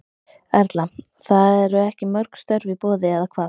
Erla: Það eru ekki mörg störf í boði eða hvað?